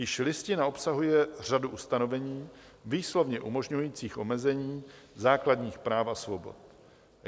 Již Listina obsahuje řadu ustanovení výslovně umožňujících omezení základních práv a svobod.